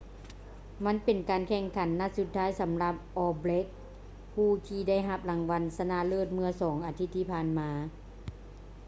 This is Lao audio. ມັນເປັນການແຂ່ງຂັນນັດສຸດທ້າຍສຳລັບ all blacks ຜູ້ທີ່ໄດ້ຮັບລາງວັນຊະນະເລີດເມື່ອສອງອາທິດທີ່ຜ່ານມາ